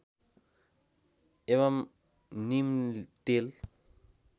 एवं नीम तेल